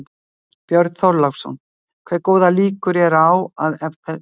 Björn Þorláksson: Hve góðar líkur eru á að af þessu verði?